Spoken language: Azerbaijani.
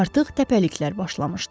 Artıq təpəliklər başlamışdı.